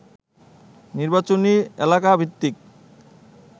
নির্বাচনী এলাকাভিত্তিক